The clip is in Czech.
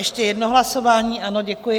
Ještě jedno hlasování, ano, děkuji.